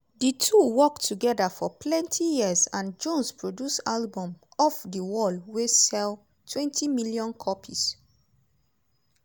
di two work togeda for plenty years and jones produce albums off di wall wey selltwentymillion copies.